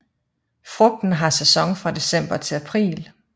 Frugten har sæson fra december til april